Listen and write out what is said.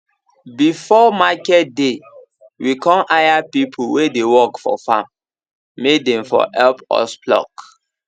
before market day we con hire people wey dey work for farm may dem for help us pluck